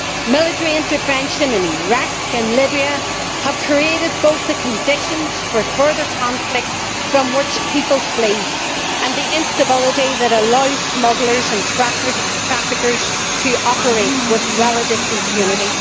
Military intervention in Iraq and Libya have created both the conditions for further conflict from which people flee and the instability that allows smugglers and traffickers to operate with relative impunity.